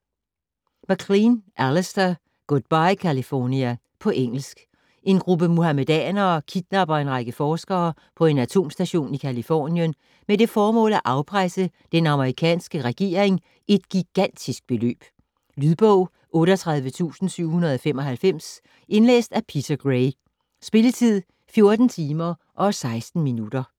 MacLean, Alistair: Goodbye California På engelsk. En gruppe muhammedanere kidnapper en række forskere på en atomstation i Californien med det formål at afpresse den amerikanske regering et gigantisk beløb. Lydbog 38795 Indlæst af Peter Gray. Spilletid: 14 timer, 16 minutter.